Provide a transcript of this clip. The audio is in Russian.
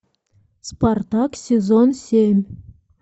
спартак сезон семь